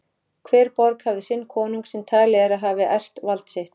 Hver borg hafði sinn konung sem talið er að hafi erft vald sitt.